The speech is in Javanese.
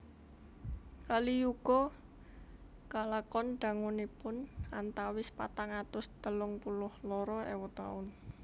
Kali Yuga kalakon dangunipun antawis patang atus telung puluh loro ewu taun